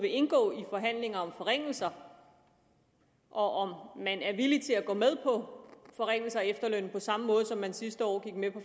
indgå i forhandlinger om forringelser og om man er villig til at gå med på forringelser af efterlønnen på samme måde som man sidste år gik med på